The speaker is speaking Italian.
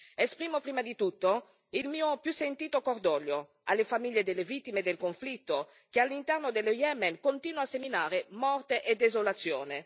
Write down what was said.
Esprimo prima di tutto il mio più sentito cordoglio alle famiglie delle vittime del conflitto che all'interno dello Yemen continua a seminare morte e desolazione.